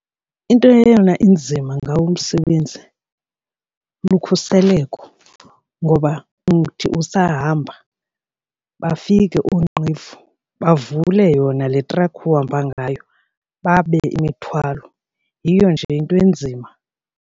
Into eyona inzima ngawo umsebenzi lukhuseleko ngoba uthi usahamba bafike oonqevu bavule yona le trakhi uhamba ngayo, babe imithwalo. Yiyo nje into enzima.